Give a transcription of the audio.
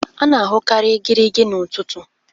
a na-ahụkarị igirigi n'ụtụtụ